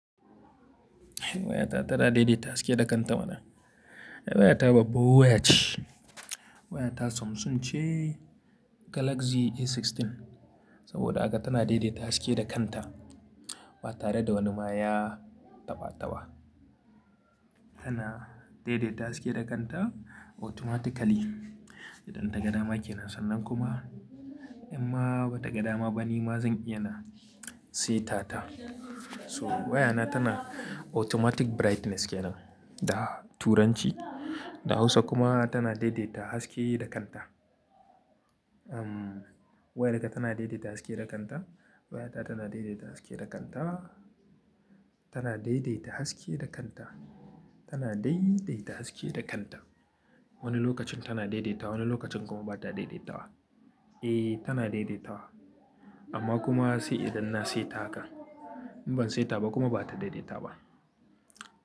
Wayata tana daidaita haske da kanta mana. Wayata babba waya ce. Wayata Samsung ce Galaxy A16. Saboda haka tana daidaita haske da kanta ba tare da wani maya tabataba. Tana daidaita haske da kanta automatically idan ta ga dama ke nan, sannan kuma in ma ba ta ga dama ba, ni ma zan iya na seta ta. So wayana tana automatic brightness ke nan da turanci, da Hausa kuma tana daidaita haske da kanta. Umm, wayarka tana daidaita haske da kanta. Wayata tana daidaita haske da kanta. Tana daidaita haske da kanta. Tana daidaita haske da kanta. Wani lokacin tana daidaitawa, wani lokacin kuma ba ta daidaitawa. Eh, tana daidaitawa amma kuma sai idan na seta haka. In ban seta ba kuma ba ta daidaita ba.